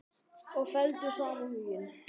Og felldu saman hugi.